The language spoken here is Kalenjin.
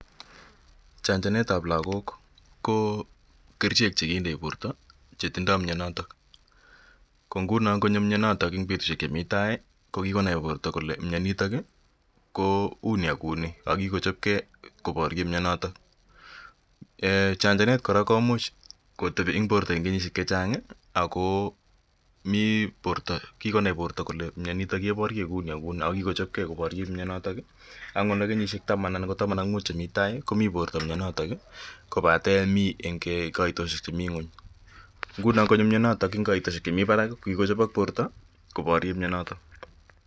Chanjanet ap lagok ko kerichek che kindei porto che tindai mianotok. Ko nguno ngonyo mianotok eng' petushek chemi tai ko kikonai porto kole mianitok ko uni ak kou ni ako kikochopgei koparye mianotok. Chanjanet kora komuch kotepi eng' porto eng' kenyishek che chang' ako mi porto, kikonai porto kolw mianitok keparye kou ni ak kou ni ako kikochopgei porto koparye mianotok, angot nda kenyishek taman anan ko taman ak muut chemi tai komi porto mianotok kopate mi eng' kaitoshek chemi ng'uny. Nguno ngonyo mianotok eng' kaitoshek chemi parak ko kikochopak porto koparye mianotok.